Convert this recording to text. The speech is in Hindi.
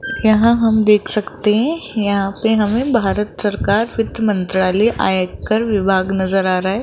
यहां हम देख सकते हैं यहां पे हमें भारत सरकार वित्त मंत्रालय आयकर विभाग नजर आ रहा है।